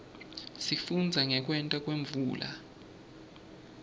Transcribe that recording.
sifundza ngekwenteka kwemvula